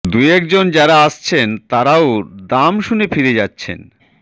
দুয়েক জন যাঁরা আসছেন তাঁরাও দাম শুনে ফিরে যাচ্ছেন